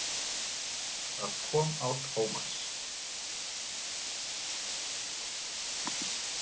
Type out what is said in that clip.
Það kom á Tómas.